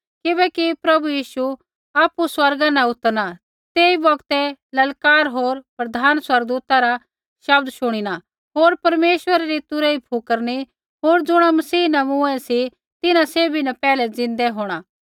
किबैकि प्रभु यीशु आपु स्वर्गा न उतरना तेई बौगतै ललकार होर प्रधान स्वर्गदूता रा शब्द शुणिना होर परमेश्वरै री तुरही फुकरिनी होर ज़ुणा मसीह न मूँऐ सी तिन्हां सैभी पैहलै ज़िन्दै होंणा